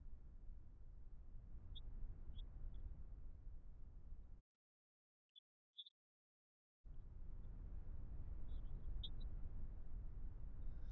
সেইবোৰৰ features যোনবিলাক youtube ত মানে youtube platform তোত যোনবিলাক free courses বিলাক আছিলে সেইবিলাক মই বহুত কৰিছিলো সেইবাবে মই অলপমান space side ত আছিলো